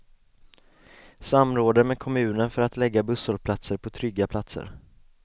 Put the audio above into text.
Samråder med kommunen för att lägga busshållplatser på trygga platser.